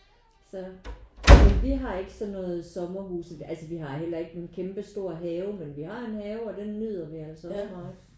Så vi har ikke sådan noget sommerhus altså vi har heller ikke nogen kæmpestor have men vi har en have og den nyder vi altså også meget